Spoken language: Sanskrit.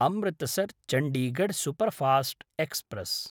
Amritsar-Chandigarh superfast express